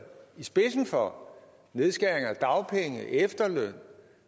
i spidsen for nedskæringer af dagpenge efterløn